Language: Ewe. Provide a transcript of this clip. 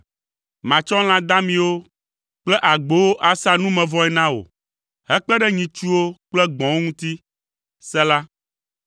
Matsɔ lã damiwo kple agbowo asa numevɔe na wò, hekpe ɖe nyitsuwo kple gbɔ̃wo ŋuti. Sela